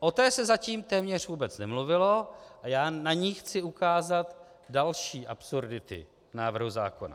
O té se zatím téměř vůbec nemluvilo a já na ní chci ukázat další absurdity návrhu zákona.